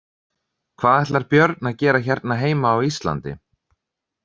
Hvað ætlar Björn að gera hérna heima á Íslandi?